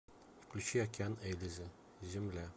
включи океан ельзи земля